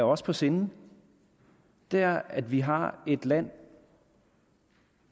os på sinde er at vi har et land